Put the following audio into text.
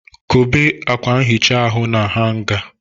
Kobe akwa nhicha ahụ na hanga.